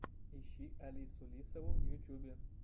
ищи алису лисову в ютьюбе